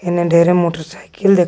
हेने ढेरे मोटरसाइकिल देखाय--